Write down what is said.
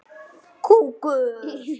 Ekki þó öllum.